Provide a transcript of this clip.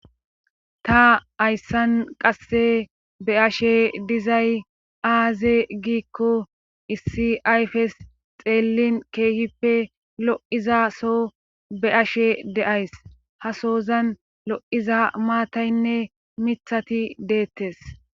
Ta ayssan qasse be ashe dizay aaze giikko issi ayfes xeellin keehippe lo7iza so be ashe deays ha sozan lo7iza maataynne mithati deettes.